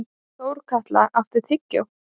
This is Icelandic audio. Þórkatla, áttu tyggjó?